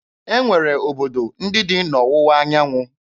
E nwere obodo ndị dị n'Ọwụwa anyanwụ.